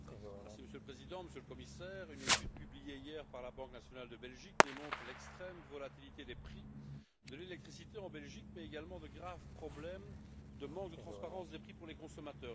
Monsieur le Président, Monsieur le Commissaire, une étude publiée hier par la Banque nationale de Belgique démontre l'extrême volatilité des prix de l'électricité en Belgique, mais également de graves problèmes de manque de transparence des prix pour les consommateurs.